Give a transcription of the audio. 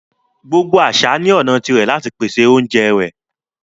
Gbogbo àṣà ni ọna tí rẹ̀ lati pèsè ọ̀unjẹ rẹ